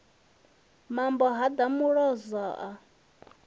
mambo ha ḓa muloza a